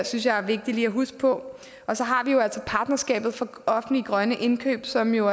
synes jeg er vigtigt lige at huske på og så har vi jo altså partnerskab for offentlige grønne indkøb som jo